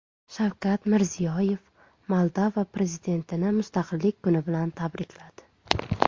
Shavkat Mirziyoyev Moldova prezidentini Mustaqillik kuni tabrikladi.